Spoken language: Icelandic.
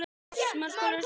Þetta gengur mjög vel.